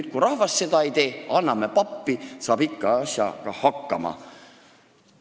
Aga kui rahvas seda ei tee, anname pappi, saab ikka asjaga hakkama.